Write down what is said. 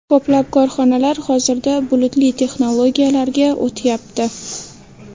Ko‘plab korxonalar hozirda bulutli texnologiyalarga o‘tyapti.